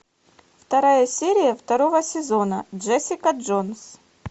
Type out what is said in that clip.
вторая серия второго сезона джессика джонс